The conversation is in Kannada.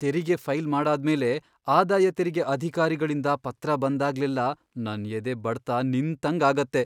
ತೆರಿಗೆ ಫೈಲ್ ಮಾಡಾದ್ಮೇಲೆ ಆದಾಯ ತೆರಿಗೆ ಅಧಿಕಾರಿಗಳಿಂದ ಪತ್ರ ಬಂದಾಗ್ಲೆಲ್ಲಾ ನನ್ ಎದೆ ಬಡ್ತ ನಿಂತಂಗ್ ಆಗತ್ತೆ.